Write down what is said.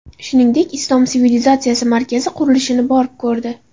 Shuningdek, Islom sivilizatsiyasi markazi qurilishini borib ko‘rdi .